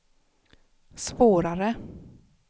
svårare